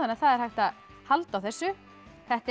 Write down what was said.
það er hægt að halda á þessu þetta er